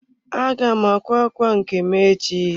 Aga m akwa ákwà nke m echi.